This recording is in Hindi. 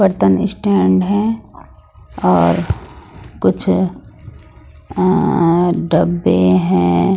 बर्तन स्टैंड है और कुछ अ डब्बे हैं।